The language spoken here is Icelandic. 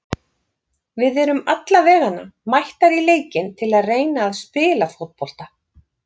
Við erum allavegana mættar í leikinn til að reyna að spila fótbolta.